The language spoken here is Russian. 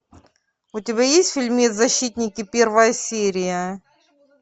у тебя есть фильмец защитники первая серия